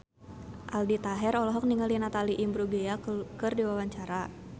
Aldi Taher olohok ningali Natalie Imbruglia keur diwawancara